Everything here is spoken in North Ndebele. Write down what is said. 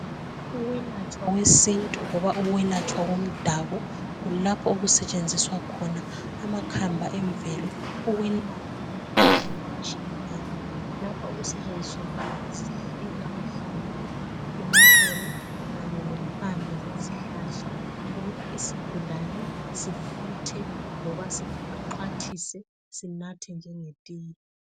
Ukwelatshwa kwesintu loba ukwelatshwa komdabuko kulapho okusetshenziswa khona amakhamba emvelo ukwelapha imikhuhlane etshiyeneyo lapha okusetshenziswa khona amahlamvu, amaxolo kanye lempande zezihlahla ukuba isigulane sifuthe loba sixhwathise sinathe njengetiye.